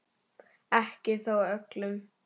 Ekki þó öllum.